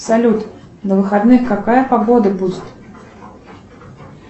салют на выходных какая погода будет